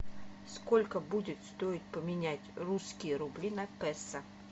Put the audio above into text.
сколько будет стоить поменять русские рубли на песо